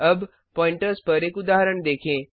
अब प्वॉइंटर्स पर एक उदाहरण देखें